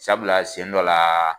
Sabula sɛn dɔ laa